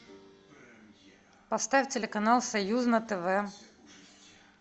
поставь телеканал союз на тв